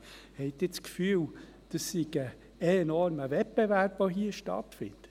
Haben Sie das Gefühl, hier finde ein enormer Wettbewerb statt?